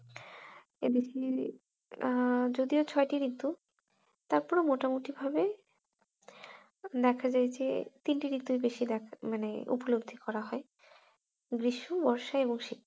এদিকে আহ যদিও ছয়টি ঋতু তারপরও মোটামটি ভাবে দেখা যায় যে তিনটি ঋতুই বেশি দেখা মানে উপলব্ধি করা হয় গ্রীষ্ম, বর্ষা এবং শীত হম